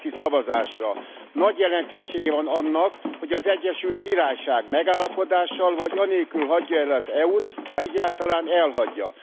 az Egyesült Királyság megállapodással vagy anélkül hagyja e el az Uniót, ha egyáltalán elhagyja.